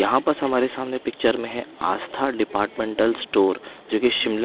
यहां पास हमारे सामने पिक्चर में है आस्था डिपार्टमेंटल स्टोर जो कि शिमला--